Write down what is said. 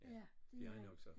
Ja det er han